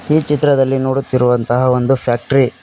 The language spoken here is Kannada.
ಈ ಚಿತ್ರದಲ್ಲಿ ನೋಡುತ್ತಿರುವಂತಹ ಒಂದು ಫ್ಯಾಕ್ಟರಿ -